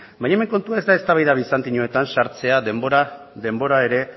baina hemen kontua ez da eztabaida bizantinoetan sartzea denbora ere